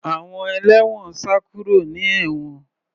Àwọn ẹlẹ́wọ̀n sá kúrò ní ewon